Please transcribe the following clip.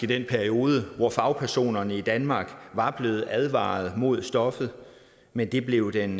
periode hvor fagpersonerne i danmark var blevet advaret mod stoffet men det blev den